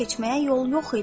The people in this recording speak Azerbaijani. Keçməyə yol yox idi.